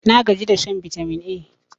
nagaji da shan bitamin A